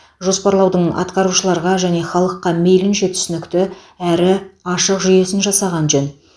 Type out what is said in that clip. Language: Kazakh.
жоспарлаудың атқарушыларға және халыққа мейлінше түсінікті әрі ашық жүйесін жасаған жөн